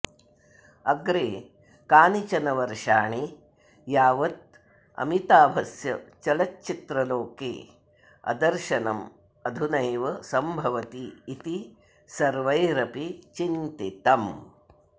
अग्रे कानिचन वर्षाणि यावत् अमिताभस्य चलच्चित्रलोके अदर्शनम् अधुनैव सम्भवति इति सर्वैरपि चिन्तितम्